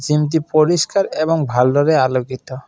জিমটি পরিস্কার এবং ভালোরে আলোকিত।